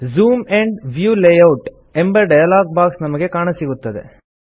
zoom and view layout ಎಂಬ dialog box ನಮಗೆ ಕಾಣಸಿಗುತ್ತದೆ